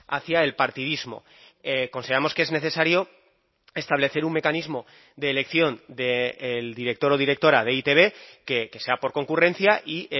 hacia el partidismo consideramos que es necesario establecer un mecanismo de elección del director o directora de e i te be que sea por concurrencia y